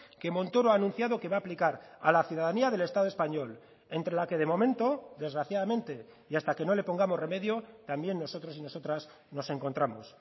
que montoro ha anunciado que va a aplicar a la ciudadanía del estado español entre la que de momento desgraciadamente y hasta que no le pongamos remedio también nosotros y nosotras nos encontramos